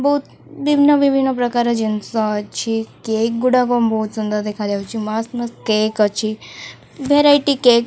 ବୋହୁତ ବିଭିନ୍ନ ବିଭିନ୍ନ ପ୍ରକାର ଜିନିଷ ଅଛି। କେକ୍ ଗୁଡ଼ାକ ବୋହୁତ ସୁନ୍ଦର ଦେଖା ଯାଉଚି। କେକ ଅଛି। Variety cake.